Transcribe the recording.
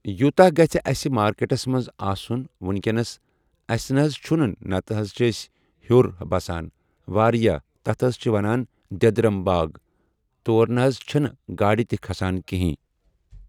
یوٗتاہ گَژھِ اسہِ مارکٮ۪ٹَس منٛز آسُن وٕنکٮ۪نَس اسہِ نہ حٕظ چھُنہٕ نتہٕ حظ چھِ أسۍ ہِیوٚر بَسان واریاہ تَتھ حٕظ چھِ وَنان دِٮ۪درَم باغ تور نہ حٕظ چھنہٕ گاڑِ تہِ کھسان کِہیٖنۍ۔